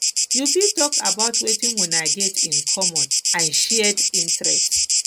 you fit talk about wetin una get in common and shared interest